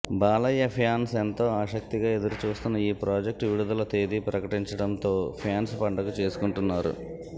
Balayya fans ఎంతో ఆసక్తిగా ఎదురుచూస్తున్న ఈ ప్రాజెక్ట్ విడుదల తేదీ ప్రకటించడంతో ఫ్యాన్స్ పండగ చేసుకుంటున్నారు